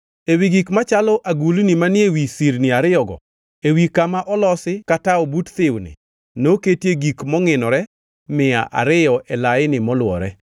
Ewi gik machalo agulni manie wi sirni ariyogo, ewi kama olosi ka tawo but thiwni, noketie gik mongʼinore mia ariyo e laini molwore.